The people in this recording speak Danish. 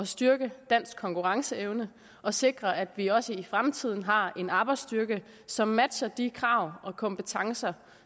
styrke dansk konkurrenceevne og sikre at vi også i fremtiden har en arbejdsstyrke som matcher de krav og kompetencer